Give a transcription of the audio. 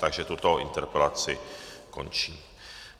Takže tuto interpelaci končím.